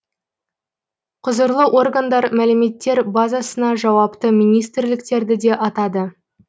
құзырлы органдар мәліметтер базасына жауапты министрліктерді де атады